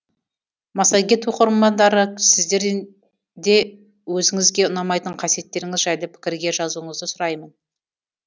массагет оқырмандары сіздер де өзіңізге ұнамайтын қасиеттеріңіз жайлы пікірге жазуыңызды сұраймын